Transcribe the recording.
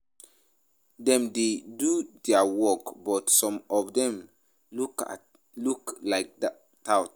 Dem dey do their work but some of dem look like tout